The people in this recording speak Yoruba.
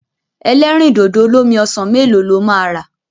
Ẹlẹ́rìndòdò olómi ọsàn mélòó lo máa rà?